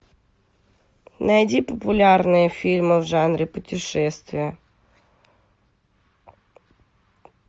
найди популярные фильмы в жанре путешествия